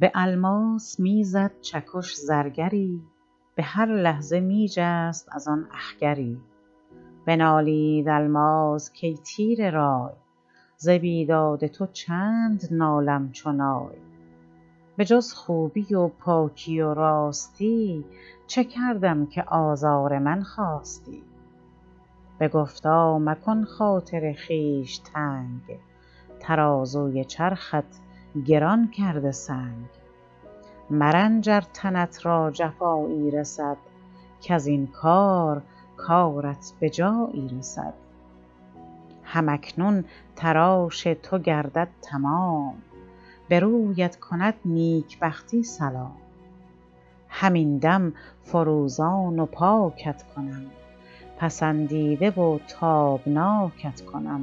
بالماس میزد چکش زرگری بهر لحظه میجست از آن اخگری بنالید الماس کای تیره رای ز بیداد تو چند نالم چو نای بجز خوبی و پاکی و راستی چه کردم که آزار من خواستی بگفتا مکن خاطر خویش تنگ ترازوی چرخت گران کرده سنگ مرنج ار تنت را جفایی رسد کزین کار کارت بجایی رسد هم اکنون تراش تو گردد تمام برویت کند نیکبختی سلام همین دم فروزان و پاکت کنم پسندیده و تابناکت کنم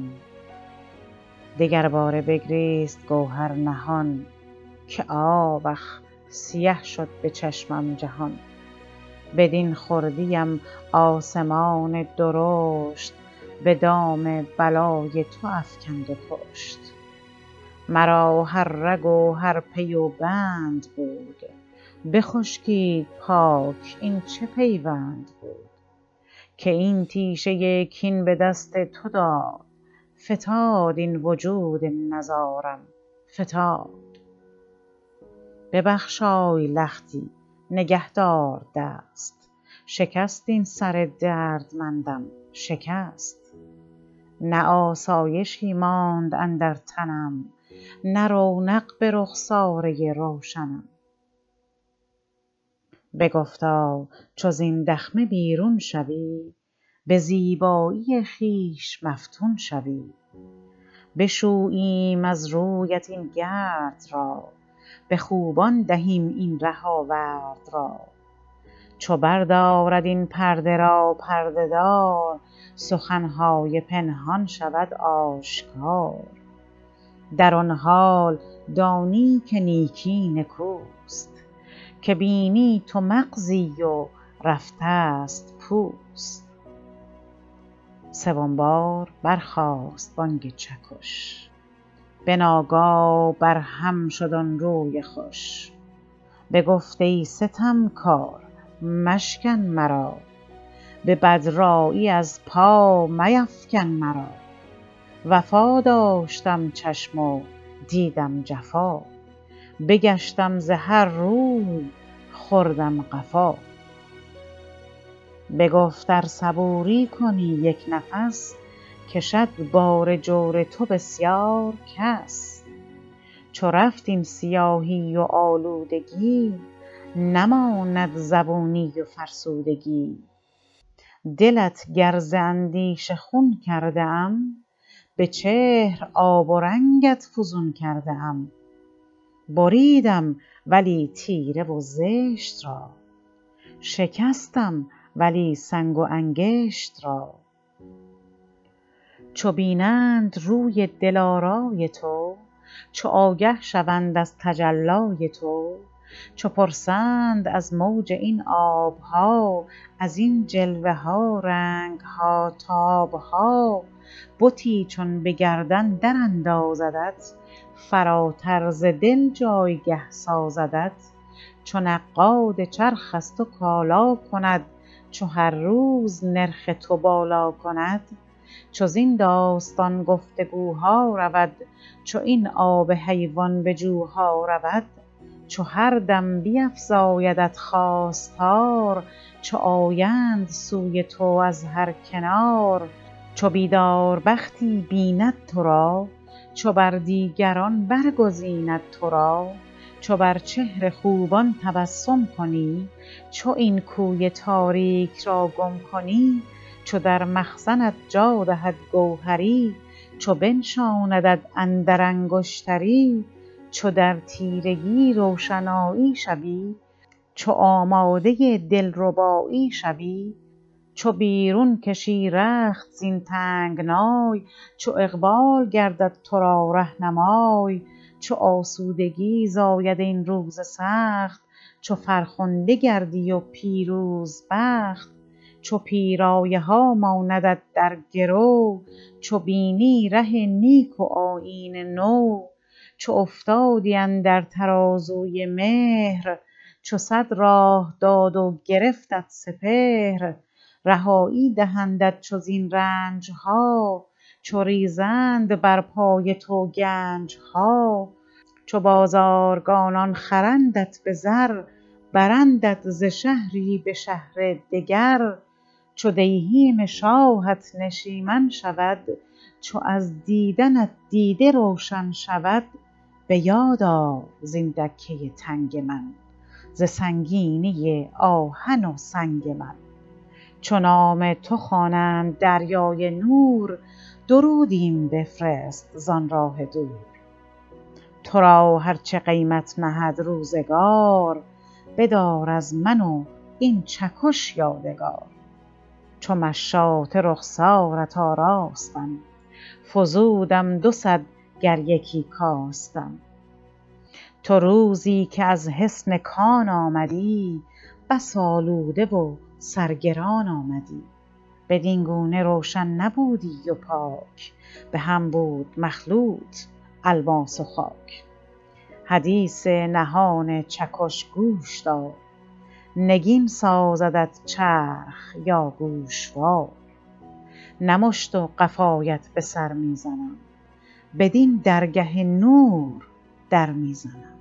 دگر باره بگریست گوهر نهان که آوخ سیه شد بچشمم جهان بدین خردیم آسمان درشت بدام بلای تو افکند و کشت مرا هر رگ و هر پی و بند بود بخشکید پاک این چه پیوند بود که این تیشه کین بدست تو داد فتاد این وجود نزارم فتاد ببخشای لختی نگهدار دست شکست این سر دردمندم شکست نه آسایشی ماند اندر تنم نه رونق به رخساره روشنم بگفتا چو زین دخمه بیرون شوی بزیبایی خویش مفتون شوی بشوییم از رویت این گرد را بخوبان دهیم این ره آورد را چو بردارد این پرده را پرده دار سخنهای پنهان شود آشکار در آن حال دانی که نیکی نکوست که بینی تو مغزی و رفتست پوست سوم بار برخاست بانگ چکش بناگاه برهم شد آن روی خوش بگفت ای ستمکار مشکن مرا به بدرایی از پا میفکن مرا وفا داشتم چشم و دیدم جفا بگشتم ز هر روی خوردم قفا بگفت ار صبوری کنی یک نفس کشد بار جور تو بسیار کس چو رفت این سیاهی و آلودگی نماند زبونی و فرسودگی دلت گر ز اندیشه خون کرده ام بچهر آب و رنگت فزون کرده ام بریدم ولی تیره و زشت را شکستم ولی سنگ و انکشت را چو بینند روی دل آرای تو چو آگه شوند از تجلای تو چو پرسند از موج این آبها ازین جلوه ها رنگها تابها بتی چون بگردن در اندازدت فراتر ز دل جایگه سازدت چو نقاد چرخ از تو کالا کند چو هر روز نرخ تو بالا کند چو زین داستان گفتگوها رود چو این آب حیوان به جوها رود چو هر دم بیفزایدت خواستار چو آیند سوی تو از هر کنار چو بیدار بختی ببیند تو را چو بر دیگران بر گزیند ترا چو بر چهر خوبان تبسم کنی چو این کوی تاریک را گم کنی چو در مخزنت جا دهد گوهری چو بنشاندت اندر انگشتری چو در تیرگی روشنایی شوی چو آماده دلربایی شوی چو بیرون کشی رخت زین تنگنای چو اقبال گردد تو را رهنمای چو آسودگی زاید این روز سخت چو فرخنده گردی و پیروزبخت چو پیرایه ها ماندت در گرو چو بینی ره نیک و آیین نو چو افتادی اندر ترازوی مهر چو صد راه داد و گرفتت سپهر رهایی دهندت چو زین رنجها چو ریزند بر پای تو گنجها چو بازارگانان خرندت بزر برندت ز شهری به شهر دگر چو دیهیم شاهت نشیمن شود چو از دیدنت دیده روشن شود بیاد آر زین دکه تنگ من ز سنگینی آهن و سنگ من چو نام تو خوانند دریای نور درودیم بفرست زان راه دور ترا هر چه قیمت نهد روزگار بدار از من و این چکش یادگار چو مشاطه رخسارت آراستم فزودم دو صد گر یکی کاستم تو روزی که از حصن کان آمدی بس آلوده و سرگران آمدی بدین گونه روشن نبودی و پاک بهم بود مخلوط الماس و خاک حدیث نهان چکش گوش دار نگین سازدت چرخ یا گوشوار نه مشت و قفایت به سر میزنم بدین درگه نور در میزنم